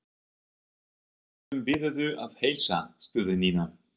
Hverjum biðurðu að heilsa? spurði Nína.